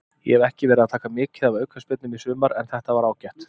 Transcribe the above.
Ég hef ekki verið að taka mikið af aukaspyrnum í sumar en þetta var ágætt.